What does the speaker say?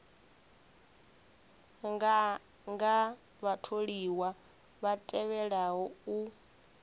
nganga vhatholiwa vha tevhelaho u